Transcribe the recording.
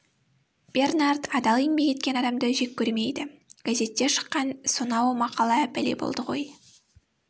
бернард адал еңбек еткен адамды жек көрмейді газетте шыққан сонау мақала бәле болды ғой